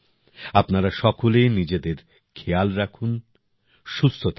আপনারা সকলে নিজেদের খেয়াল রাখুন সুস্থ থাকুন